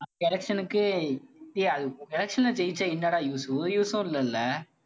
election க்கு டேய் அது election ல ஜெயிச்சா என்னடா use உ ஒரு use உம் இல்லல்ல.